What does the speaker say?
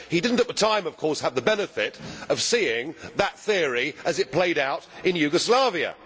He did not at the time, of course, have the benefit of seeing that theory as it played out in Yugoslavia.